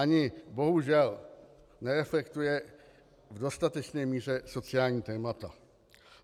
Ani bohužel nereflektuje v dostatečné míře sociální témata.